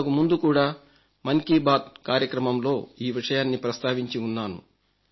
ఇంతకుముందు కూడా మన్ కీ బాత్ కార్యక్రమంలో ఈ విషయాన్ని ప్రస్తావించి ఉన్నాను